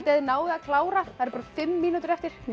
þið náið að klára bara fimm mínútur eftir